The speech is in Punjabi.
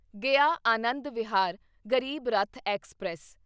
ਗਿਆ ਆਨੰਦ ਵਿਹਾਰ ਗਰੀਬ ਰੱਥ ਐਕਸਪ੍ਰੈਸ